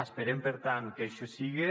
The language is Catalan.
esperem per tant que així siga